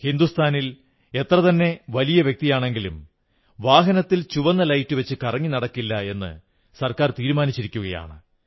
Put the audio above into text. രാജ്യത്തെ എത്രതന്നെ വലിയ വ്യക്തിയാണെങ്കിലും വാഹനത്തിൽ ചുവന്ന ലൈറ്റ് വച്ച് കറങ്ങി നടക്കില്ലെന്ന് സർക്കാർ തീരുമാനിച്ചിരിക്കയാണ്